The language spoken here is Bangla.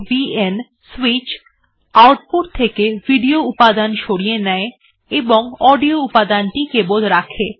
vn সুইচ আউটপুট থেকে ভিডিও উপাদান সরিয়ে নেয় এবং অডিও উপাদানটি কেবল রাখে